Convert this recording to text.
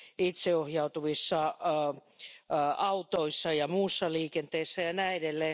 itseohjautuvissa autoissa ja muussa liikenteessä jne.